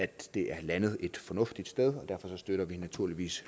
det er landet et fornuftigt sted og derfor støtter vi naturligvis